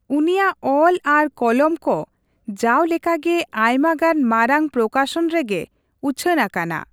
ᱩᱱᱤᱭᱟᱜ ᱚᱞ ᱟᱨ ᱠᱚᱞᱚᱢ ᱠᱚ ᱡᱟᱣ ᱞᱮᱠᱟᱜᱮ ᱟᱭᱢᱟᱜᱟᱱ ᱢᱟᱨᱟᱝ ᱯᱨᱚᱠᱟᱥᱚᱱ ᱨᱮᱜᱮ ᱩᱪᱷᱟᱹᱱ ᱟᱠᱟᱱᱟ ᱾